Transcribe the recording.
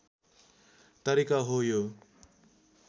तरिका हो यो